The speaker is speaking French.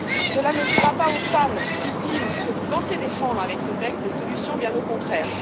Cela n'offrira pas aux femmes victimes que vous pensez défendre avec ce texte des solutions, bien au contraire.